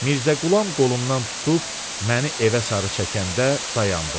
Mirzə Qulam qolumdan tutub məni evə sarı çəkəndə dayandım.